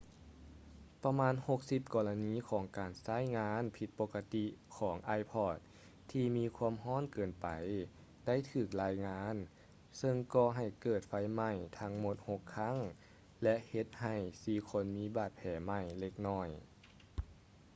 ປະມານ 60 ກໍລະນີຂອງການໃຊ້ງານຜິດປົກກະຕິກຂອງ ipod ທີ່ມີຄວາມຮ້ອນເກີນໄປໄດ້ຖືກລາຍງານ ເຊິ່ງກໍໃຫ້ເກີດໄຟໄໝ້ທັງໝົດຫົກຄັ້ງ ແລະ ເຮັດໃຫ້ສີ່ຄົນມີບາດແຜໄໝ້ເລັກນ້ອຍ